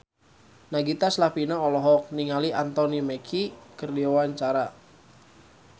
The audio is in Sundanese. Nagita Slavina olohok ningali Anthony Mackie keur diwawancara